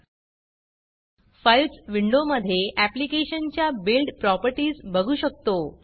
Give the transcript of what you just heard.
Filesफाइल्स विंडोमधे ऍप्लिकेशनच्या build properties बघू शकतो